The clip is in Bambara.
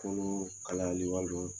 Kolo kalayali walima